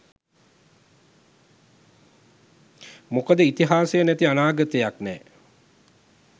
මොකද ඉතිහාසය නැති අනාගතයක් නෑ.